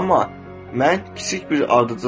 Amma mən kiçik bir ardıcılıyam,